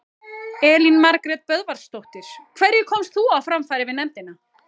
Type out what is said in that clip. Elín Margrét Böðvarsdóttir: Hverju komst þú á framfæri við nefndina?